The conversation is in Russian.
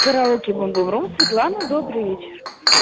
караоке бумбурум светлана добрый вечер